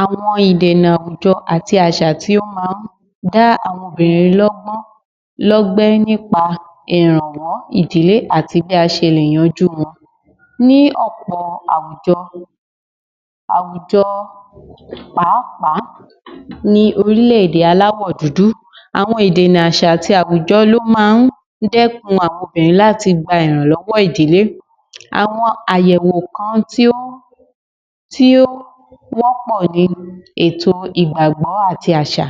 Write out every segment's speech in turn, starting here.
Àwọn ìdènà àwùjọ àti àwọn àṣà tí ó máa ń dá àwọn obìnrin lọ́gbẹ́ nípa ìrànwọ́ ìdílé àti bí a ṣe lè yanjú wọn, ní ọ̀pọ̀ àwùjọ, àwùjọ pàápàá ní orílẹ̀ èdè aláwọ̀ dúdú, àwọn ìdènà àṣà àti àwùjọ ló máa ń dẹ́kun àwọn obìnrin láti gba ìrìnlọ́wọ́ ìdílé. Àwọn àyẹ̀wò kan tí ó wọ́pọ̀ ní ètò ìgbàgbọ́ àti àṣà,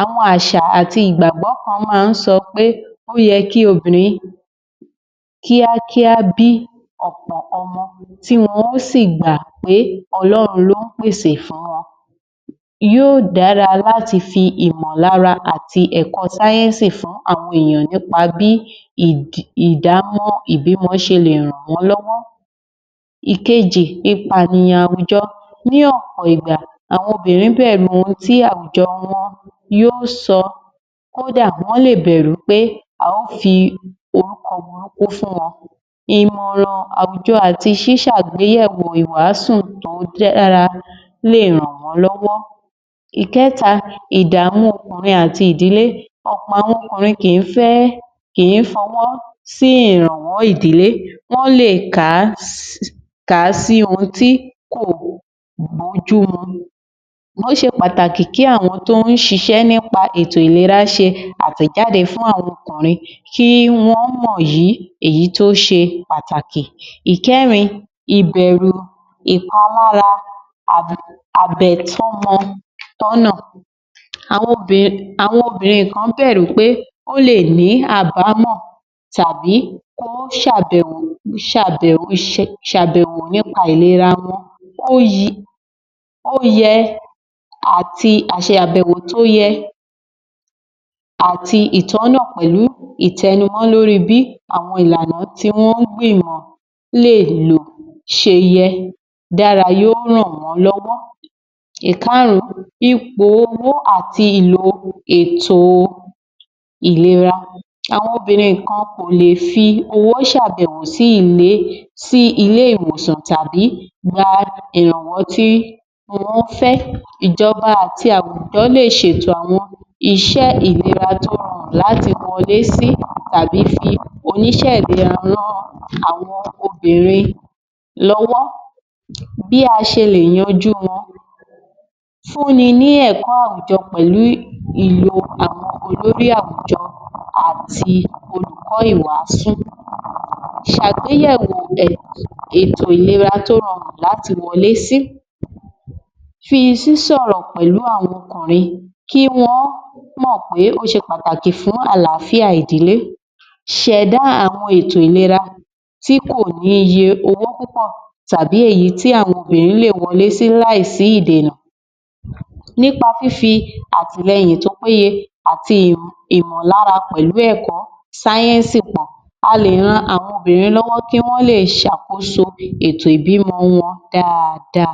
àwọn àṣà àti ìgbàgbọ́ kan máa ń sọ pé ó yẹ kí obìnrin kíákíá bí ọ̀pọ̀ ọmọ tí wọn ó sì gbà pé Ọlọ́run ló ń pèsè fún wọn, yóò dára láti fi ìmọ̀ lára àti ẹ̀kọ́ sáyẹ́nsì fún àwọn èyàn nípa bí ìbímọ ṣe lè ràn wọ́n lọ́wọ́. Ìkejì, ìpànìyàn àwùjọ, ní ọ̀pọ̀ ìgbà, àwọn obìnrin bẹ̀rù ohun tí àwùjọ wọn yóò sọ, kódà wọ́n lè bẹ̀rù pé a ó fi orúkọ burúku fún wọn, ìmọ̀ràn àwùjọ àti ṣíṣàgbéyẹ̀wọ̀ ìwáásù tó dára lè ràn wọ́n lọ́wọ́. Ìkẹ́ta, ìdàmú okùnrin àti ìdílé, ọ̀pọ̀ àwọn ọkùnrin kì í fẹ́, kì í fọwọ́ sí ìrànwọ́ ìdílé, wọ́n lè kà á sí ohun kò bójúmu, ó ṣe pàtàkì kí àwọn tó ń ṣiṣẹ́ nípa ètò ìlera ṣe àtẹ̀jáde fún àwọn ọkùnrin kí wọ́n mọ̀yí èyí tí ó ṣe pàtàkì. Ìkẹ́rin, ìbẹ̀rú ìpalára àbètọ́mọ-tọ́nà, àwọn obìnrin kan bẹ̀rù pé ó lè ní àbámọ̀ tàbí ó ṣàbẹ̀wò nípa ìlera wọn àti ìṣàbẹ̀wò tó yẹ àti ìtọ́nà pẹ̀lú ìtẹnumọ̀ lóri bí àwọn ìlànà tí wọ́n ń gbìmọ̀ lè lò ṣe yẹ dára yóò ràn wọn lọ́wọ́. Ìkárùn-ún, ipò owó àti ìlò ètò ìlera, àwọn obìnrin kan kò lè fi owó ṣàbẹ̀wò sí ilé ìwòsàn tàbí gba ìrànwọ́n tí wọ́n fẹ́, ìjọba àti àwùjọ lè ṣètò àwọn iṣẹ́ ìlera tí ó rọrùn láti wọlé sí tàbí fi oníṣé ìlera ran àwọn obìnrin lọ́wọ́. Bí a ṣe lè yanjú wọn, fúnni ní ẹ̀kọ́ àwùjọ pẹ̀lú ìlò àwọn olórí àwùjọ àti òlùkọ́ ìwásù, ìṣàgbéyẹ̀wò ètò ìlera tó rọrùn láti wọlé sí, fi sísọ̀rò pẹ̀lú àwọn ọkùnrin kí wọ́n mọ̀ pé ó ṣe pàtàkì fún àláfíà ìdílé, ṣẹ̀dá àwọn ètò ìlera tí kò níye owó púpọ̀ tàbí èyí tí àwọn obìnrin lè wọlé sí láì sí ìdènà, nípa fífi àtìlẹyìn tó péye àti ìmọlára pẹ̀lú ẹ̀kọ́ sáyẹ́nsì pọ̀, a lè ran àwọn obìntin lọ́wọ́ kí wọ́n lè ṣàkóso ètò ìbímọ wọn daada.